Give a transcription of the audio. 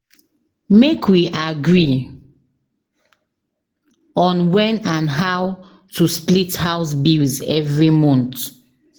Make we agree on when and how to split house bills every month.